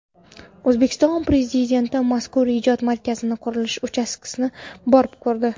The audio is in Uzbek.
O‘zbekiston Prezidenti mazkur ijod markazi qurilish uchastkasini borib ko‘rdi.